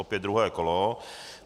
Opět druhé kolo.